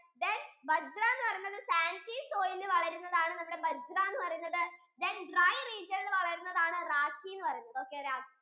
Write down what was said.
then bajra എന്ന് പറയുന്നത് sandy soil യിൽ വളരുന്നതാണ് നമ്മുടെ bajra എന്ന് പറയുന്നത് then dry region യിൽ വളരുന്നതാണ് നമ്മുടെ